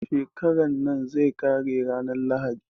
Shekaran nan zai ƙare ranar lahadi